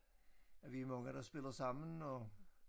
At vi er mange der spiller sammen og